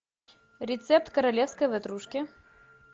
рецепт королевской ватрушки